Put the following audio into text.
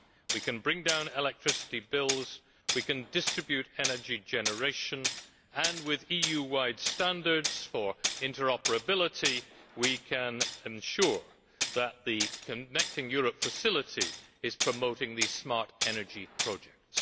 We can bring down electricity bills, we can distribute energy generation and, with EU wide standards for interoperability, we can ensure that the Connecting Europe Facility is promoting these smart energy projects.